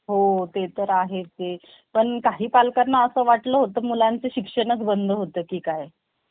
माझे बालपण म्हणजे स्वप्नातलं घर होत. जिथे रोज आजी आबांच्या कथेत, कथा ऐकत मी त्या कथेंच खरच पात्र पाहिल्यासारखं